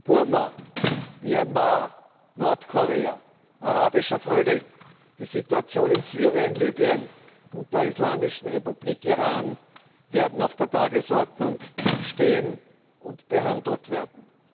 Burma Myanmar, Nordkorea, Arabischer Frühling, die Situation in Syrien und Libyen und der Islamischen Republik Iran werden auf der Tagesordnung stehen und behandelt werden.